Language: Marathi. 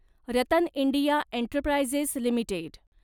Ratan India enterprises limited